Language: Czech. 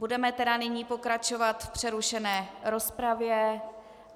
Budeme tedy nyní pokračovat v přerušené rozpravě.